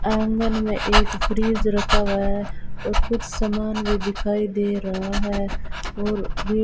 आंगन में एक फ्रिज रखा हुआ है और कुछ सामान भी दिखाई दे रहा है और --